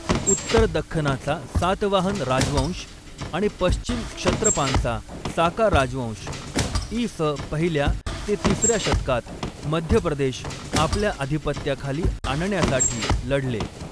उत्तर दख्खनाचा सातवाहन राजवंश आणि पश्चिम क्षत्रपांचा साका राजवंश, इ. स. पहिल्या ते तिसऱ्या शतकात, मध्य प्रदेश आपल्या अधिपत्याखाली आणण्यासाठी लढले.